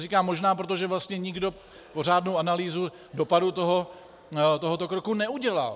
Říkám možná, protože vlastně nikdo pořádnou analýzu dopadu tohoto kroku neudělal.